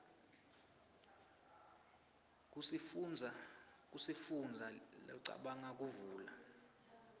kusifundza locabanga kuvula